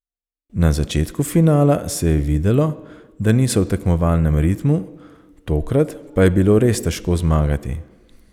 Na začetku finala se je videlo, da niso v tekmovalnem ritmu, tokrat pa je bilo res težko zmagati.